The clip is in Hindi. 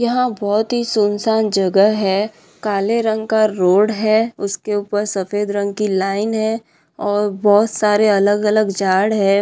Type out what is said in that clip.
यहाँ बहुत ही सुनसान जगह है काले रंग का रोड है उसके ऊपर सफ़ेद रंग की लाइन है और बहुत सारे अलग अलग जाड़ है।